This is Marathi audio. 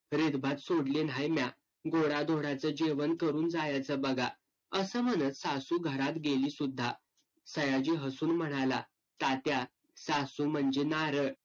रीतभात सोडली न्हाय म्या. गोडाधोडाचं जेवण करून जायचं बघा. असं म्हणत सासू घरात गेलीसुद्धा. सयाजी हसून म्हणाला, तात्या सासू म्हणजे नारळ.